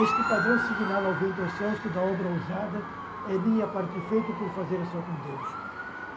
Este padrão signado ao vento aos céus, que dá obra ousada, é minha parte feita por fazer a sua com Deus.